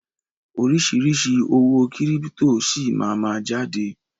Oríṣiríṣi owó kírípítò síí máa ma jáde.